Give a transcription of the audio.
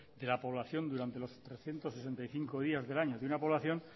de la población durante los trescientos sesenta y cinco días del año de una población